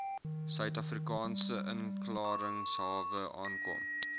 suidafrikaanse inklaringshawe aankom